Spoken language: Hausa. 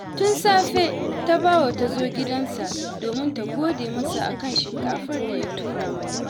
Tun safe Tabawa ta zo gidansa domin ta gode masa a kan shinkafar da ya tura mata